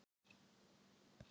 Fátt var um svör við því.